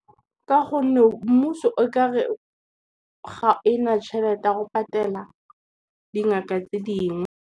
Ka gonne mmuso o kare, ga ena tšhelete ya go patela dingaka tse dingwe.